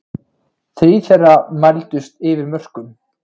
Þrír þeirra mældust yfir mörkum